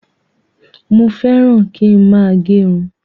Mo féràn kín máa gerun